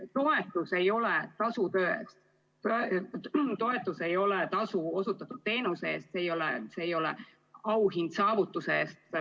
Toetus ei ole tasu töö eest, toetus ei ole tasu osutatud teenuse eest, see ei ole auhind saavutuse eest.